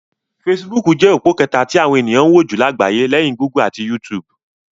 Fesibúùkù jẹ́ òpó kẹta tí àwọn ènìyàn ń wò jù lágbàyé, léyìn Gúgù ati YouTube.